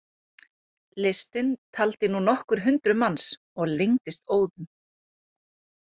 Listinn taldi nú nokkur hundruð manns og lengdist óðum.